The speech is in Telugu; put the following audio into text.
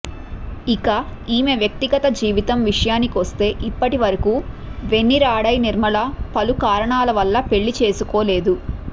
ఇక ఈమె వ్యక్తిగత జీవితం విషయానికొస్తే ఇప్పటివరకు వెన్నిరాడై నిర్మల పలు కారణాల వల్ల పెళ్లి చేసుకోలేదు